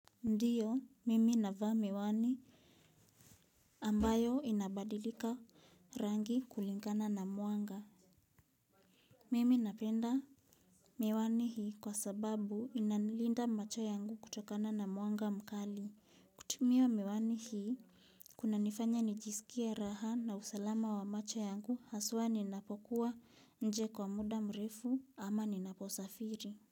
Ndiyo, mimi navas miwani ambayo inabadilika rangi kulingana na mwanga. Mimi napenda miwani hii kwa sababu inanilinda macho yangu kutokana na mwanga mkali. Tumia miwani hii kunanifanya nijisikie raha na usalama wa macho yangu haswa ninapokuwa nje kwa muda mrefu ama ninaposafiri.